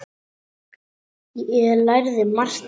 Ég lærði margt af þeim.